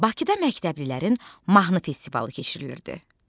Bakıda məktəblilərin mahnı festivalı keçirilirdi.